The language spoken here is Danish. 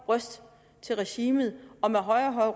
røst til regimet og med højere og